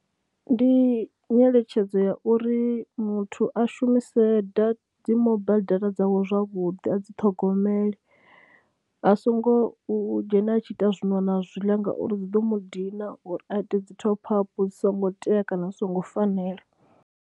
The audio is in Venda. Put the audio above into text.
Ndi nyeletshedzo ya uri muthu a shumise da, dzi mobile data dzawe zwavhuḓi, a dzi ṱhogomele a songo u dzhena a tshi ita zwino na zwiḽa ngauri dzi ḓo mu dina uri a ite dzi top up dzi songo tea kana dzi songo fanela.